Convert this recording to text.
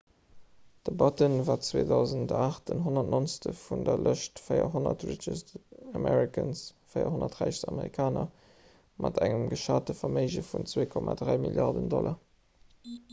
de batten war 2008 den 190. vun der lëscht 400 richest americans 400 räichst amerikaner mat engem geschate verméige vun 2,3 milliarden dollar